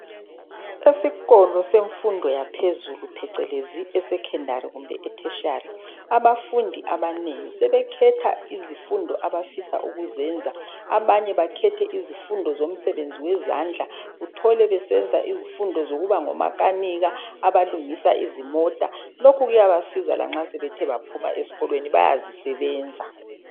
Esikolo semfundo yaphezulu,, phecelezi esecondary kumbe e tertiary, abafundi abanengi sebekhetha izifundo abafisa ukuzenza, abanye bakhethe izifundo zomsebenzi wezandla, uthole besenza izifumdo zokuba ngomakanika abalungisa izimota. Lokhu kuyabasiza lanxa sebethe baphuma eskolweni, bayazisebenza.